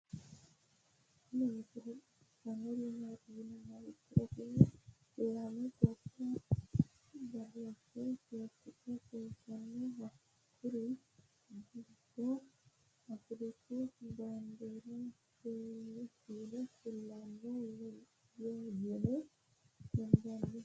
tini misile xawisannori maati yinummoha ikkiro tini lame gobba badooshshe seekite kultanno hakkuri giddo afiriku baandeeri feenni kulanno yine hendanni